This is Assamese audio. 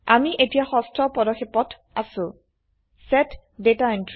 আমি এতিয়া ষষ্ঠ পদক্ষেপত আছো160 চেট ডাটা Entry